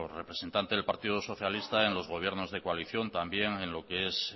representante del partido socialista en los gobiernos de coalición también en lo que es